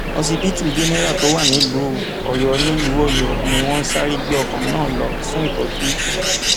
òṣìbìtú jẹnẹrà tó wà nílùú ọyọ nílùú ọyọ ni wọn sáré gbé ọkùnrin náà lọ fún ìtọjú